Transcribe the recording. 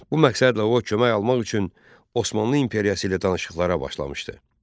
Bu məqsədlə o, kömək almaq üçün Osmanlı İmperiyası ilə danışıqlara başlamışdı.